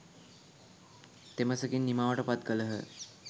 තෙමසකින් නිමාවට පත් කළහ.